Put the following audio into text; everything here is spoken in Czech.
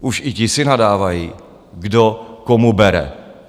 Už i ti si nadávají, kdo komu bere.